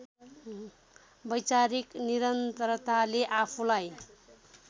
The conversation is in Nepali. वैचारिक निरन्तरताले आफूलाई